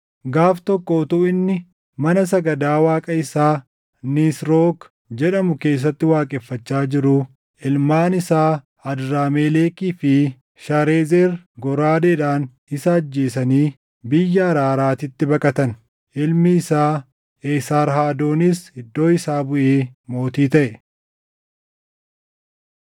Gaaf tokko utuu inni mana sagadaa waaqa isaa Nisrook jedhamuu keessatti waaqeffachaa jiruu ilmaan isaa Adramelekii fi Sharezer goraadeedhaan isa ajjeesanii biyya Araaraatitti baqatan. Ilmi isaa Eesarhadoonis iddoo isaa buʼee mootii taʼe.